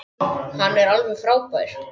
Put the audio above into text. Hann er alveg frábær.